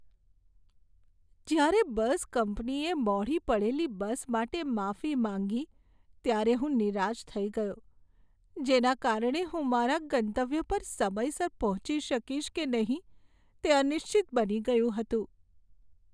જ્યારે બસ કંપનીએ મોડી પડેલી બસ માટે માફી માંગી ત્યારે હું નિરાશ થઈ ગયો, જેના કારણે હું મારા ગંતવ્ય પર સમયસર પહોંચી શકીશ કે નહીં તે અનિશ્ચિત બની ગયું હતું.